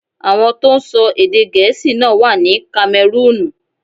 Àwọn tó ń sọ èdè Gẹ̀ẹ́sì náà wà ní Kamẹrúùnù.